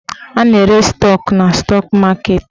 A na-ere stọk na stọk maketi.